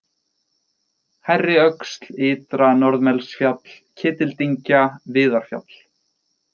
Hærriöxl, Ytra-Norðmelsfjall, Ketildyngja, Viðarfjall